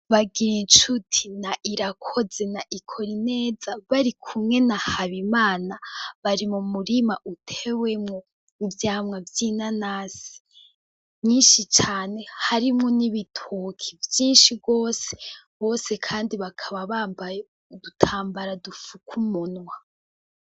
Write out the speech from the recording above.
Bagirincuti na irakoze na bikorineza bari kumwe na habimana, bari mu murima utewemwo ivyamwa vy'inanasi nyinshi cane harimwo n'ibitoki vyinshi gose, bose kandi bakaba bambaye udutambara dufuka umunwa.